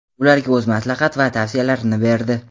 ularga o‘z maslahat va tavsiyalarini berdi.